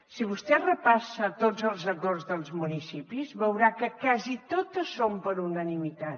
si vostè repassa tots els acords dels municipis veurà que quasi totes són per unanimitat